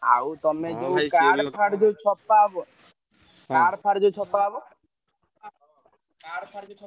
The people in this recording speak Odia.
ଆଉ ତମେ ଯୋଉ card ଫାର୍ଡ ଯୋଉ ଛପା ହବ card ଫାର୍ଡ ଯୋଉ ଛପା ହବ card ଫାର୍ଡ ଯୋଉ ଛପା?